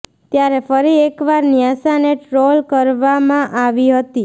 ત્યારે ફરી એક વાર ન્યાસાને ટ્રોલ કરવામાં આવી હતી